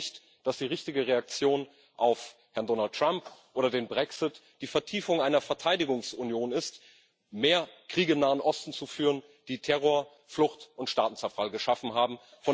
Ich glaube nicht, dass die richtige Reaktion auf Herrn Donald Trump oder den Brexit die Vertiefung einer Verteidigungsunion ist, mehr Kriege im Nahen Osten zu führen, die Terror, Flucht und Staatenzerfall geschaffen haben.